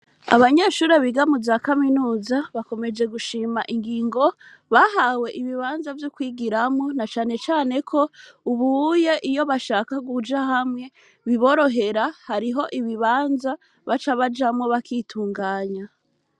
Abanyeshure biga muza Kaminuza, bakomeje gushima ingingo bahawe ibibanza vyo kwigiramwo, na cane cane ko ubu, iyo bashatse kuja hamwe biborohera, hariho ibibanza baca bajamwo bakitunganya.